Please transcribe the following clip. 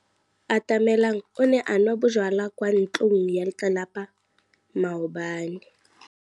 Atamelang o ne a nwa bojwala kwa ntlong ya tlelapa maobane.